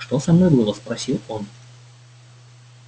что со мной было спросил он